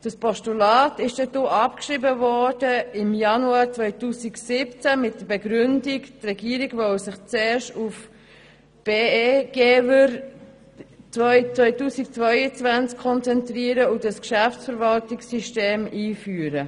Das Postulat wurde im Januar 2017 mit der Begründung abgeschrieben, die Regierung wolle sich zuerst auf Be-Gever 2022 konzentrieren und dieses Geschäftsverwaltungssystem einführen.